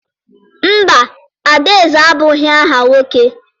Mba, Adaeze abụghị aha nwoke.